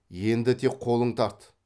енді тек қолың тарт